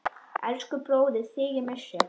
Elsku bróðir, þig ég missi.